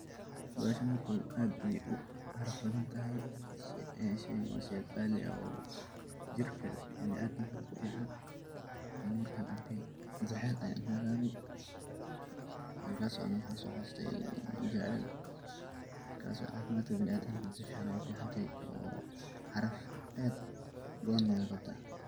Bahashan horta aad ayey u caraf badan tahay ,sheygaan waa shey qalii oo jirkaa biniadamka kufican, ani markan arkay jacel ayan ujawabe, wakaso ani waxan so xasustay jacel wakaso cafimadka biniadamka si fican ayey u fican tehe oo caraf aad u badane wey qabtaa.